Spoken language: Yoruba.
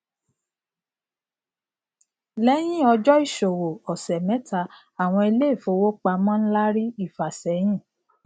lẹyìn ọjọ ìsòwò ọsẹ mẹta àwọn ilé ìfowópamọ ńlá rí ìfàsẹyìn